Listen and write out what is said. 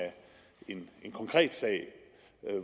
en konkret sag